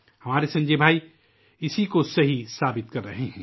ہمارے سنجے بھائی اس قول کو سچ ثابت کر رہے ہیں